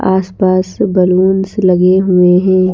आस-पास बैलूंस लगे हुए हैं।